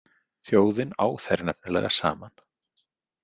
Þjóðin á þær nefnilega saman.